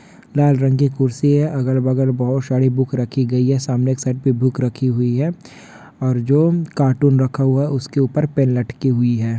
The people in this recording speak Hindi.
लाल रंग की कुर्सी है अगल बगल बहुत सारी बुक रखी गयी है सामने एक साईड में एक बुक रखी गयी है और जो कार्टून रखा हुवा है उसके ऊपर पेन अटकी हुयी है।